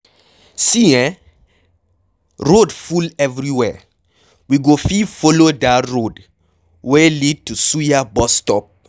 See eh road full everywhere, we go fit follow dat road wey lead to suya bus stop.